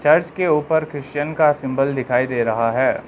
घर के ऊपर क्रिश्चियन का सिंबल दिखाई दे रहा है।